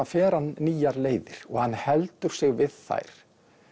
fer hann nýjar leiðir og hann heldur sig við þær